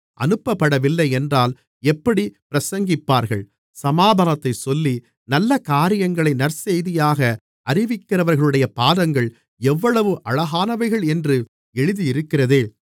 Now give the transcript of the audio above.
அனுப்பப்படவில்லை என்றால் எப்படிப் பிரசங்கிப்பார்கள் சமாதானத்தைச் சொல்லி நல்ல காரியங்களை நற்செய்தியாக அறிவிக்கிறவர்களுடைய பாதங்கள் எவ்வளவு அழகானவைகள் என்று எழுதியிருக்கிறதே